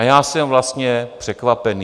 A já jsem vlastně překvapený.